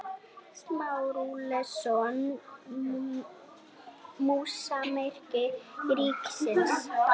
Samúelsson, húsameistari ríkisins.